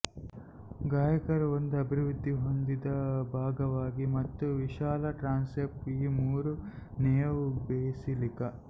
ಗಾಯಕರ ಒಂದು ಅಭಿವೃದ್ಧಿ ಹೊಂದಿದ ಭಾಗವಾಗಿ ಮತ್ತು ವಿಶಾಲ ಟ್ರಾನ್ಸೆಪ್ಟ್ ಈ ಮೂರು ನೇವ್ ಬೆಸಿಲಿಕಾ